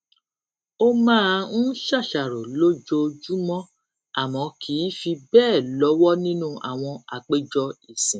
ó máa ń ṣàṣàrò lójoojúmó àmó kì í fi béè lówó nínú àwọn àpéjọ ìsìn